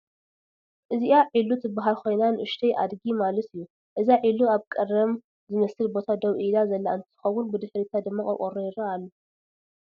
እዚአ ዒሉ ትበሃል ኮይና ንኡሽተይ አድጊ ማለት እዩ፡፡ እዛ ዒሉ አብ ቀሪም ዝመስል ቦታ ደው ኢላ ዘላ እንትትኮን ብድሕሪታ ድማ ቆርቆሮ ይረአ አሎ፡፡